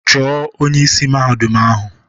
Chọọ onye isi Mahadum ahụ!